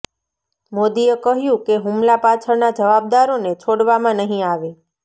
મોદીએ કહ્યું કે હુમલા પાછળના જવાબદારોને છોડવામાં નહીં આવે